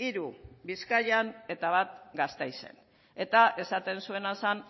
hiru bizkaian eta bat gasteizen eta esaten zuena zen